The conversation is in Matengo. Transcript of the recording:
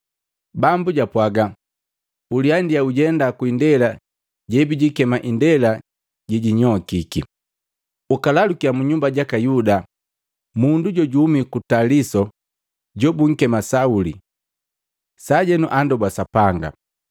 Bambu japwaga, “Uliandia ujenda ku indela jebijikema indela jejinyokiki, ukalalukya mu nyumba jaka Yuda mundu jojuhumi ku Taliso jobunkema Sauli. Sajenu andoba Sapanga,